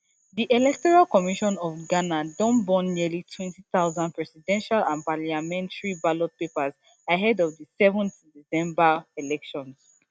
di electoral commission of ghana don burn nearly twenty thousand presidential and parliamentary ballot papers ahead of di seven december elections